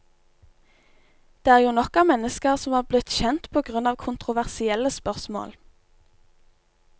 Det er jo nok av mennesker som er blitt kjent på grunn av kontroversielle spørsmål.